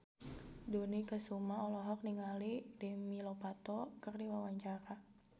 Dony Kesuma olohok ningali Demi Lovato keur diwawancara